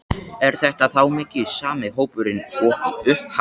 Er þetta þá mikið sami hópurinn og í upphafi?